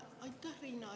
Aitäh!